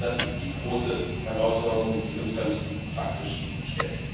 Denn ich glaube, das ist die große Herausforderung, die sich uns ganz praktisch stellt.